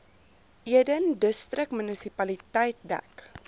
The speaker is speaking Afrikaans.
eden distriksmunisipaliteit dek